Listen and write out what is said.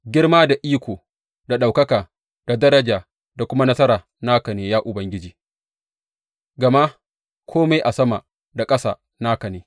Girma da iko da ɗaukaka, da daraja da kuma nasara naka ne, ya Ubangiji, gama kome a sama da ƙasa naka ne.